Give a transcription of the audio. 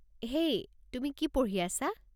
হেই, তুমি কি পঢ়ি আছা?